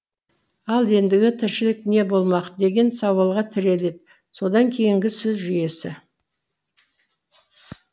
ал еңдігі тіршілік не болмақ деген сауалға тірелді содан кейінгі сөз жүйесі